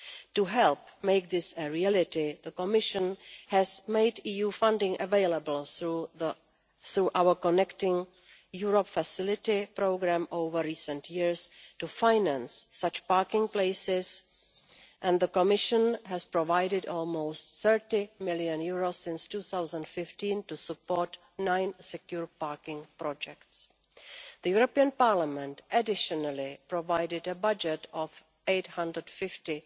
To help make this a reality, the Commission has made EU funding available through our Connecting Europe Facility Programme over recent years to finance such parking places, and the Commission has provided almost EUR 30 million since 2015 to support nine secure parking projects. The European Parliament additionally provided a budget of EUR 850